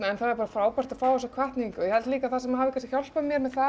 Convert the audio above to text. það er bara frábært að fá þessa hvatningu ég held líka að það sem hafi kannski hjálpað mér með það